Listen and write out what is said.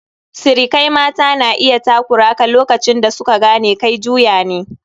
Sirikai mata na iya takura ka lokacin da su ka gane kai juya ne.